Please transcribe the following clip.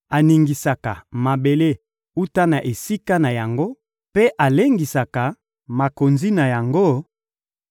aningisaka mabele wuta na esika na yango mpe alengisaka makonzi na yango;